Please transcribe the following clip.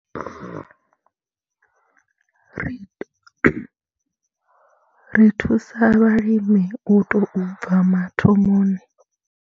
Ri thusa vhalimi u tou bva mathomoni.